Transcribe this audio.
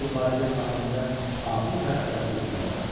Bu faciə xatirimdə ağır və əzablı izlər buraxdı.